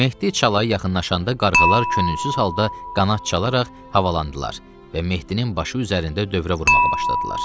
Mehdi çalaya yaxınlaşanda qarğılar könülsüz halda qanad çalaraq havalandılar və Mehdinin başı üzərində dövrə vurmağa başladılar.